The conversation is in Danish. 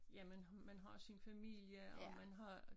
Jamen man har sin familie og man har